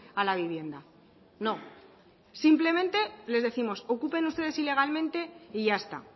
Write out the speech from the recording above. a la vivienda no simplemente les décimos ocupen ustedes ilegalmente y ya está